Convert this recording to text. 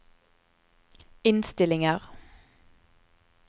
innstillinger